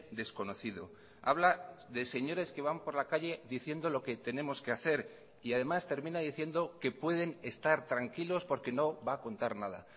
desconocido habla de señores que van por la calle diciendo lo que tenemos que hacer y además termina diciendo que pueden estar tranquilos porque no va a contar nada